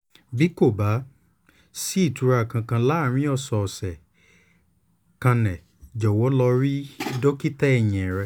bí kò bá sí ìtura kankan láàárín ọ̀sẹ̀ ọ̀sẹ̀ kanẹ jọ̀wọ́ lọ rí dókítà ẹ̀yìn rẹ